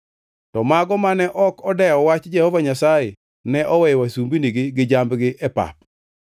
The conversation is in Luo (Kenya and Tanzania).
To mago mane ok odew wach Jehova Nyasaye ne oweyo wasumbinigi gi jambgi e pap.